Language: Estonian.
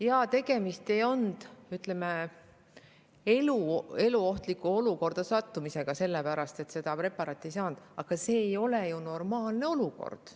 Jaa, tegemist ei olnud, ütleme, eluohtlikku olukorda sattumisega, kuna seda preparaati ei saanud kohe, aga see ei ole ju normaalne olukord.